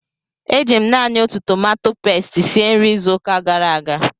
Eji m naanị otu tomato pasti sie nri izuụka gara aga